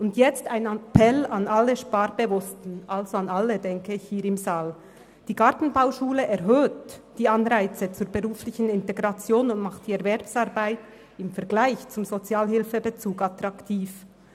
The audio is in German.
Nun ein Appell an alle Sparbewussten, also wahrscheinlich an alle in diesem Saal: Die Gartenbauschule erhöht die Anreize zur beruflichen Integration und macht die Erwerbsarbeit im Vergleich zum Sozialhilfebezug attraktiv.